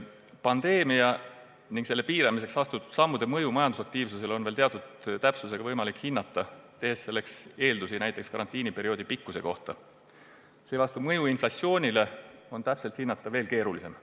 Pandeemia ja selle piiramiseks astutud sammude mõju majandusaktiivsusele on teatud täpsusega võimalik hinnata, tehes selleks eeldusi näiteks karantiiniperioodi pikkuse kohta, seevastu inflatsioonile avaldatavat mõju on täpselt hinnata keerulisem.